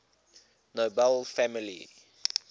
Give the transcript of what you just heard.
nobel family